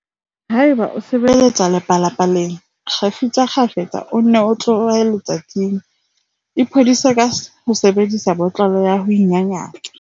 Haeba o sebetsa lepalapa-leng, kgefutsa kgafetsa o nne o tlohe letsatsing. Iphodise ka ho sebedisa botlolo ya ho inyanyatsa.